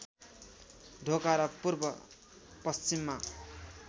ढोका र पूर्व पश्चिममा